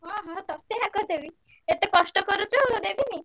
ହଁ ହଁ ତତେ ଆଗ ଦେବି ଏତେ କଷ୍ଟ କରୁଚୁ ଦେବିନି|